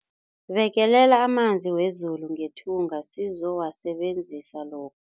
Bekelela amanzi wezulu ngethunga sizowasebenzisa lo